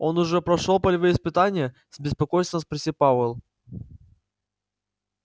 он уже прошёл полевые испытания с беспокойством спросил пауэлл